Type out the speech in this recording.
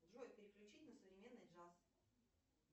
джой переключи на современный джаз